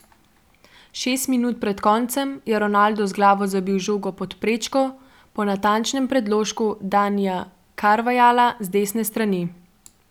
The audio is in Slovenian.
Šest minut pred koncem je Ronaldo z glavo zabil žogo pod prečko po natančnem predložku Danija Carvajala z desne strani.